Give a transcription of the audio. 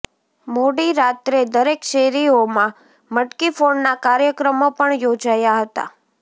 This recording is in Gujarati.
મોડી રાત્રે દરેક શેરીઓમા મટકીફોડના કાર્યક્રમો પણ યોજાયા હતા